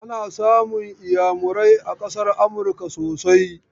Ana samun iyamurai a ƙasar Amurka sosai.